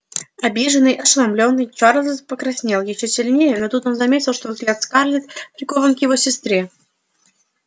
обиженный ошеломлённый чарлз покраснел ещё сильнее но тут он заметил что взгляд скарлетт прикован к его сестре